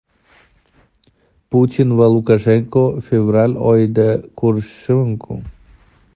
Putin va Lukashenko fevral oyida ko‘rishishi mumkin.